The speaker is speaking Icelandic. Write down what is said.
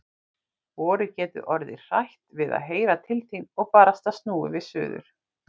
Vorið getur orðið hrætt við að heyra til þín. og barasta snúið við suður.